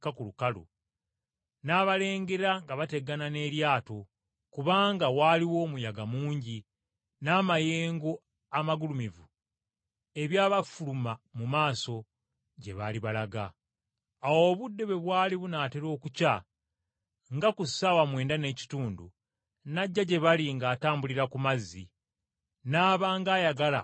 n’abalengera nga bategana n’eryato kubanga waaliwo omuyaga mungi n’amayengo amagulumivu ebyabafuluma mu maaso gye baali balaga. Awo obudde bwali bunaatera okukya nga ku ssaawa mwenda ez’ekiro, n’ajja gye bali ng’atambulira ku mazzi, n’aba ng’ayagala okubayitako.